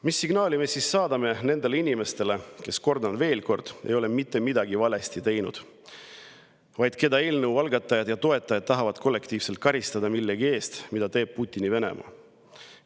Mis signaali me siis saadame nendele inimestele, kes, kordan veel, ei ole mitte midagi valesti teinud, vaid keda eelnõu algatajad ja toetajad tahavad kollektiivselt karistada millegi eest, mida teeb Putini Venemaa?